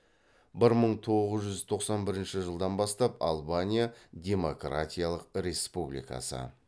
бір мың тоғыз жүз тоқсан бірінші жылдан бастап албания демократиялық республикасы